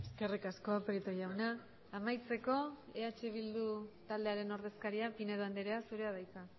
eskerrik asko prieto jauna amaitzeko eh bildu taldearen ordezkaria pinedo andrea zurea da hitza